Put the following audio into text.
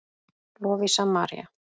Lovísa María.